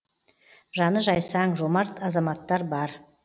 жаны жайсаң жомарт азаматтар бар